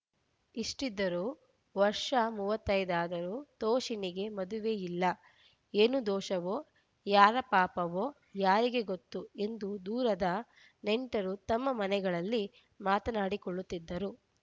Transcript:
ಇಷ್ಟಿದ್ದರೂ ವರ್ಷ ಮೂವತ್ತೈದಾದರೂ ತೋಷಿಣಿಗೆ ಮದುವೆಯಿಲ್ಲ ಏನು ದೋಷವೋ ಯಾರ ಪಾಪವೋ ಯಾರಿಗೆ ಗೊತ್ತು ಎಂದು ದೂರದ ನೆಂಟರು ತಮ್ಮ ಮನೆಗಳಲ್ಲಿ ಮಾತನಾಡಿಕೊಳ್ಳುತ್ತಿದ್ದರು